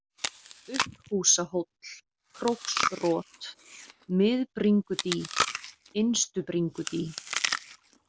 Upphúsahóll, Króksrot, Miðbringudý, Innstubringudý